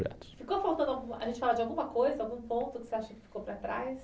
Ficou faltando a gente falar sobre alguma coisa? algum ponto que você acha que ficou para trás?